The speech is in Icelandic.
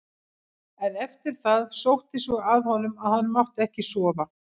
En eftir það sótti svo að honum að hann mátti ekki sofa.